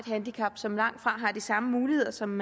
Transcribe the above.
handicap som langtfra har de samme muligheder som